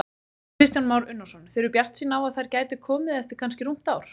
Kristján Már Unnarsson: Þið eruð bjartsýn á að þær gæti komið eftir kannski rúmt ár?